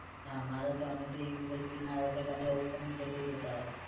નાં મારે તો અમે એક દિવસ ભી ને આયા તો બધા ઉપર નીચે થઇ જતા હોય